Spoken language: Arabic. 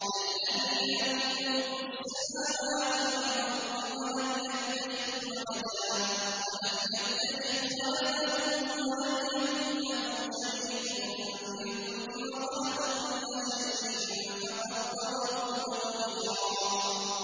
الَّذِي لَهُ مُلْكُ السَّمَاوَاتِ وَالْأَرْضِ وَلَمْ يَتَّخِذْ وَلَدًا وَلَمْ يَكُن لَّهُ شَرِيكٌ فِي الْمُلْكِ وَخَلَقَ كُلَّ شَيْءٍ فَقَدَّرَهُ تَقْدِيرًا